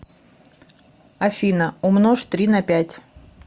афина умножь три на пять